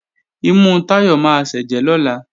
Imú Táyọ̀ máa sẹ́jẹ̀ lọ́la